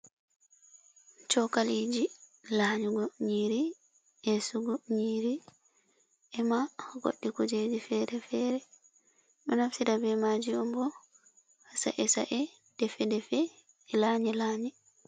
Chokaliji lanƴugo nƴiiri, eesugo nƴiiri, e ma goɗɗi kuujeji feere-feere. Ɗo naftira be maaji on bo, ha sa’e-sa'e, defe-defe e lanƴe-lanƴe.